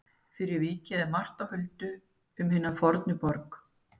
Fyrir vikið er margt á huldu um hina fornu borg.